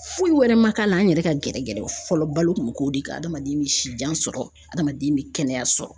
Foyi wɛrɛ ma k'a la an yɛrɛ ka gɛrɛ gɛrɛ fɔlɔ balo kun bɛ k'o de kan adamaden bɛ si jan sɔrɔ adamaden bɛ kɛnɛya sɔrɔ.